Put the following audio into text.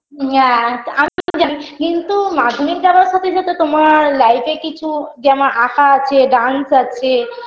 Yeah কিন্তু মাধ্যমিক দেয়ার সাথে সাথে তোমার life -এ কিছু যেমন আঁকা আছে dance আছে